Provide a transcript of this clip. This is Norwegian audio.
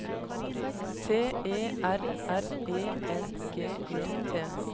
T E R R E N G E T